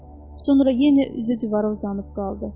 Sonra yenə üzü divara uzanıb qaldı.